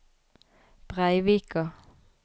Breivika